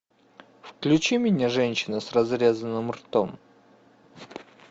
включи мне женщина с разрезанным ртом